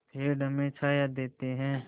पेड़ हमें छाया देते हैं